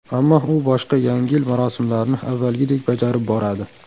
Ammo u boshqa Yangi yil marosimlarini avvalgidek bajarib boradi.